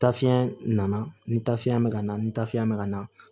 Tafiɲɛ nana ni tafiya bɛ ka na ni tafiya bɛ ka na